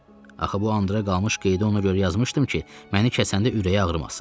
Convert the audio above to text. Axı bu andra qalmış qeydi ona görə yazmışdım ki, məni kəsəndə ürəyi ağrımasın.